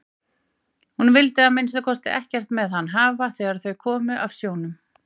Hún vildi að minnsta kosti ekkert með hann hafa þegar þau komu af sjónum.